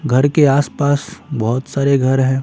घर के आस-पास बहुत सारे घर हैं।